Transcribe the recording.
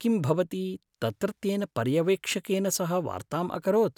किं भवति तत्रत्येन पर्यवेक्षकेन सह वार्ताम् अकरोत्?